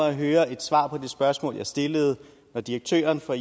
at høre et svar på det spørgsmål jeg stillede når direktøren for